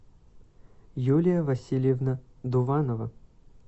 юлия васильевна дуванова